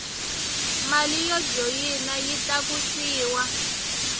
mali yo joyina yi tlakusiwa